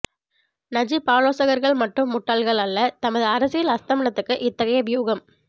Najib ஆலோசகர்கள் மட்டும் முட்டாள்கள் அல்ல தமது அரசியல் அஸ்தமனத்துக்கு இத்தகைய வியூகம்